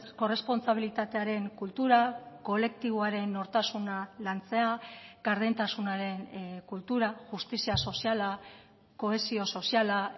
korrespontsabilitatearen kultura kolektiboaren nortasuna lantzea gardentasunaren kultura justizia soziala kohesio soziala